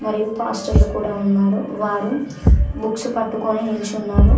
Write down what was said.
మరియు పాస్టర్లు కూడా ఉన్నారు వారు బుక్స్ పట్టుకొని నిల్చున్నారు.